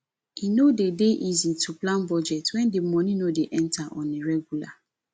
e no de dey easy to plan budget when di money no dey enter on a regular